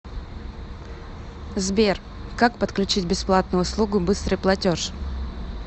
сбер как подключить бесплатную услугу быстрый платеж